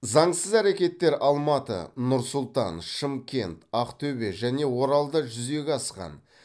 заңсыз әрекеттер алматы нұр сұлтан шымкент ақтөбе және оралда жүзеге асқан